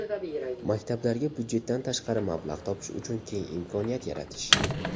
Maktablarga budjetdan tashqari mablag‘ topish uchun keng imkoniyat yaratish.